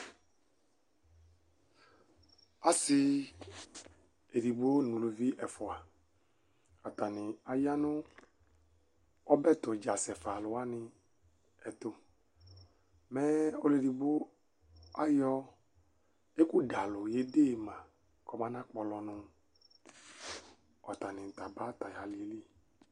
ɔsi edigbo nʊ eluvi efua, atanɩ ya nʊ ɔbɛ tudza asɛ fanɩwanɩ ɛtʊ, mɛ ɔlʊ edigbo kazɛ atami iyeye dʊ nʊ ɛkʊzɛ iyeye li ka mayɔkpɔlɔ nʊ alɩ yɛ li aba